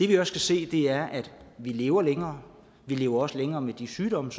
kan se er at vi lever længere vi lever også længere med de sygdomme